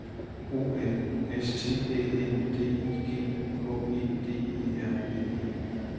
O M S T Æ N D I G H E D E R N E